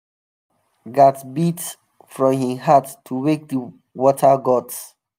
village drummer gats beat from him heart to wake the water gods.